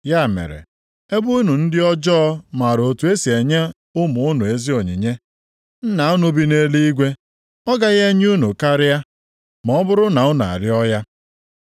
Ya mere, ebe unu ndị ọjọọ maara otu e si enye ụmụ unu ezi onyinye, Nna unu bi nʼeluigwe ọ gaghị enye unu karịa, ma ọ bụrụ na unu arịọọ ya!